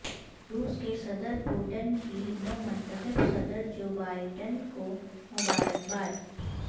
روس کے صدر پوٹن کی نو منتخب صدر جو بائیڈن کو مبارکباد